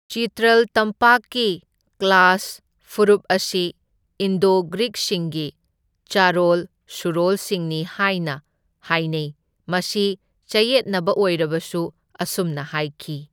ꯆꯤꯇ꯭ꯔꯜ ꯇꯝꯄꯥꯛꯀꯤ ꯀꯂꯥꯁ ꯐꯨꯔꯨꯞ ꯑꯁꯤ ꯏꯟꯗꯣ ꯒ꯭ꯔꯤꯛꯁꯤꯡꯒꯤ ꯆꯥꯔꯣꯜ ꯁꯨꯔꯣꯜꯁꯤꯡꯅꯤ ꯍꯥꯏꯅ ꯍꯥꯢꯅꯩ ,ꯃꯁꯤ ꯆꯌꯦꯠꯅꯕ ꯑꯣꯏꯔꯕꯁꯨ ꯑꯁꯨꯝꯅ ꯍꯥꯏꯈꯤ꯫